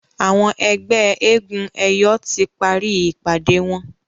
Àwọn ẹgbẹ éégun eyọ tí parí ìpàdé wón.